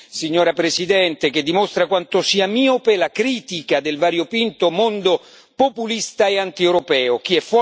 Una richiesta di adesione, signora Presidente, che dimostra quanto sia miope la critica del variopinto mondo populista e antieuropeo.